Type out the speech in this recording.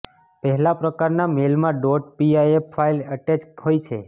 પહેલા પ્રકારના મેઈલમાં ડોટ પીઆઈએફ ફાઈલ એટેચ હોય છે